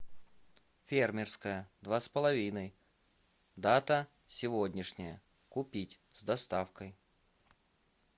фермерское два с половиной дата сегодняшняя купить с доставкой